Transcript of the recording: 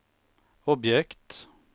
objekt